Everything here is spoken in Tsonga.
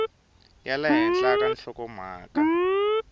ya le henhla ka nhlokomhaka